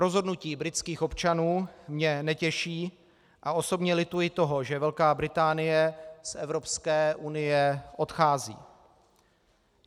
Rozhodnutí britských občanů mě netěší a osobně lituji toho, že Velká Británie z Evropské unie odchází.